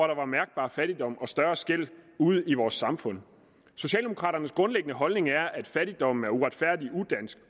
der var mærkbar fattigdom og større skel ude i vores samfund socialdemokraternes grundlæggende holdning er at fattigdom er uretfærdig og udansk